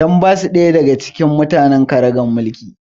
Dan ba su ɗaya daga cikin magadan ƙaragar mulki